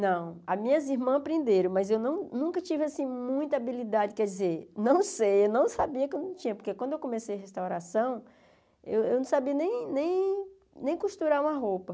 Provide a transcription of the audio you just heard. Não, as minhas irmãs aprenderam, mas eu num nunca tive muita habilidade, quer dizer, não sei, eu não sabia que eu não tinha, porque quando eu comecei a restauração, eu não sabia nem nem nem costurar uma roupa.